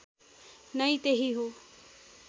नै त्यही हो